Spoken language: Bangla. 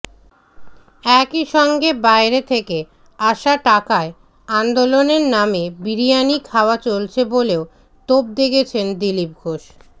একইসঙ্গে বাইরে থেকে আসা টাকায় আন্দোলনের নামে বিরিয়ানি খাওয়া চলছে বলেও তোপ দেগেছেন দিলীপ ঘোষ